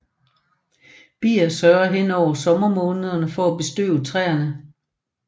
Bier sørger hen over sommermånederne for at bestøve træere